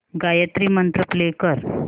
Gayatri Mantra play कर